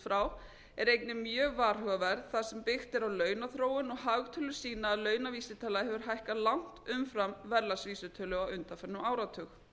frá er einnig mjög varhugaverð þar sem byggt er á launaþróun og hagtölur sína að launavísitala hefur hækkað langt umfram verðlagsvísitölu á undanförnum áratug